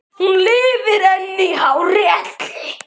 Hún lifir enn í hárri elli.